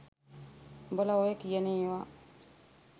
උඹල ඔය කියන ඒවා